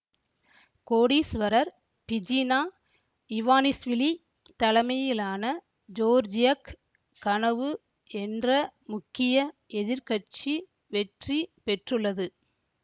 கோடீஸ்வரர் Bidzina Ivanishvili தலைமையிலான ஜோர்ஜியக் கனவு என்ற முக்கிய எதிர் கட்சி வெற்றி பெற்றுள்ளது